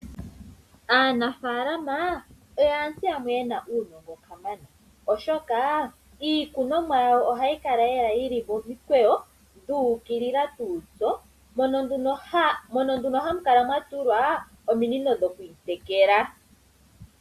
Aanafalama oyo aantu yamwe yena uunongo kamana, oshoka iikunomwa yawo ohayi yili momikweyo, yu ukilila. Ohamu kala nduno mwatulwa ominino dhokuyi tekela.